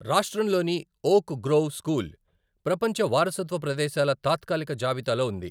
రాష్ట్రంలోని Oak Grove School ప్రపంచ వారసత్వ ప్రదేశాల తాత్కాలిక జాబితాలో ఉంది.